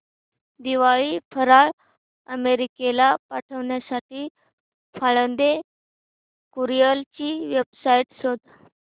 दिवाळी फराळ अमेरिकेला पाठविण्यासाठी पाळंदे कुरिअर ची वेबसाइट शोध